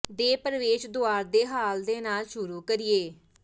ਦੇ ਪ੍ਰਵੇਸ਼ ਦੁਆਰ ਦੇ ਹਾਲ ਦੇ ਨਾਲ ਸ਼ੁਰੂ ਕਰੀਏ